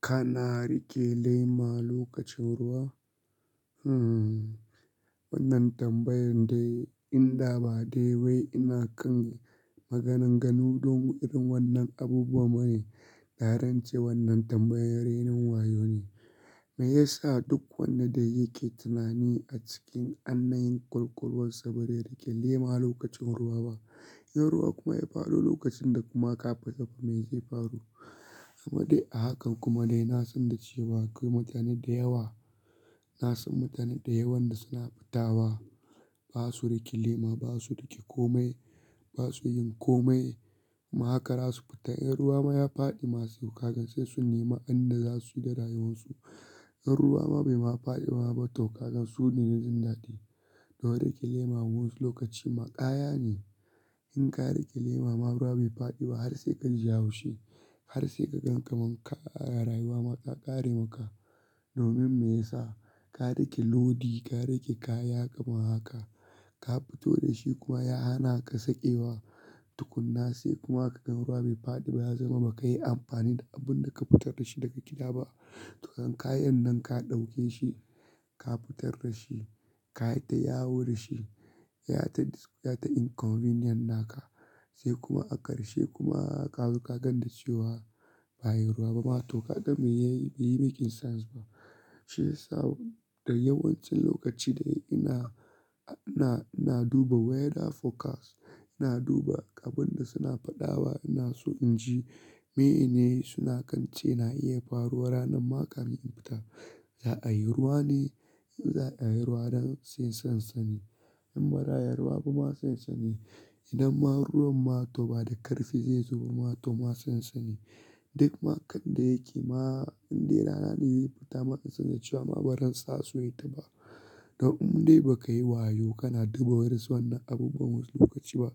Kana riƙe lema lokacin ruwa? Hmm, wannan tambayan dai in da ba dai wai ina kan maganan ganu don irin wannan abubuwa bane, da ran ce wannan tambayar rainin wayo ne. Me yasa duk wanda da yake tunani a cikin annayin ƙwalƙwalwarsa ba zai riƙe lema lokacin ruwa ba? In ruwa kuma ya faɗo lokacin da kuma ka fita ba me zai faru? Amma dai a hakan kuma dai na san da cewa akwai mutane da yawa, na san mutane da yawan da suna fita wa, ba su riƙe lema, ba su riƙe komai, ba su yin komai, ma haka ra su fita in ruwa ma ya faɗi ma, so kaga sai sun nema in da za su yi da rayuwarsu. In ruwa ma bai ma faɗi ma ba toh kagan su ne da jin daɗi. Don riƙe lema wa'insu lokaci ma ƙaya ne. In ka riƙe lema ma ruwa bai faɗi ba har sai ka ji haushi, har sai ka gan kamar kai rayuwa ma ta ƙare maka. Domin me yasa? Ka riƙe lodi, ka riƙe kaya kamar haka. Ka fito da shi kuma ya hana ka sakewa, tukuna sai kuma ka gan ruwa bai faɗi ba ya zama ba ka yi amfani da abun da ka fitar da shi daga gida ba. To kan kayan nan ka ɗauke shi, ka fitar da shi, ka yi ta yawo da shi, ya yi ta inconvenient naka, sai kuma a ƙarshe kuma kazo ka gan da cewa ba'a yi ruwa ba ma toh kaga me ya yi? Bai yi making sense ba. Shi ya sa da yawancin lokaci da ina, ina, ina duba weather forecast, ina duba abun da suna faɗawa ina so in ji, meye ne suna kan ce na iya faruwa ranar ma ka min infita. Za'a yi ruwa ne? In za'a yi ruwa dan sai san sani. In ba za'a yi ruwa ba ma sai san sani. Idan ma ruwan ma toh ba da ƙarfi zai zubo ma toh ma san sani. Duk makan da yake ma in dai rana ze fita ma in san da cewa ma ba ran sa suwaita ba. Don in dai ba ka yi wayo kana duba wa'ansu wannan abubuwan wasu lokaci ba.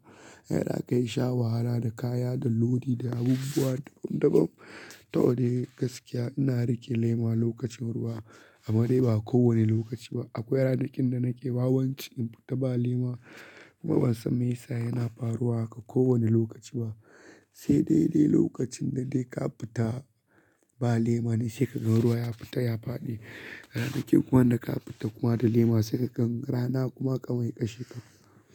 Kai zaka yi sha wahala da kaya, da lodi, da abubuwa daban-daban. To dai gaskiya ina riƙe lema lokacin ruwa, amma dai ba kowane lokaci ba. Akwai ranakin da nake wawanci in fita ba lema kuma ban san me yasa yana faruwa haka kowane lokaci ba, sai dai dai lokacin da dai ka fita ba lema ne sai ka gan ruwa ya fita, ya faɗi. Ranakin kuman da ka fita kuma da lema sai ka gan rana kuma ka mai ya ƙashe ka.